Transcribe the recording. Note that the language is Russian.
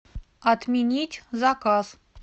отменить заказ